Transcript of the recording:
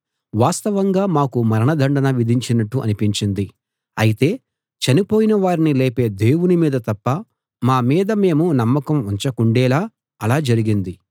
వాస్తవంగా మాకు మరణదండన విధించినట్టు అనిపించింది అయితే చనిపోయిన వారిని లేపే దేవుని మీద తప్ప మా మీద మేము నమ్మకం ఉంచకుండేలా అలా జరిగింది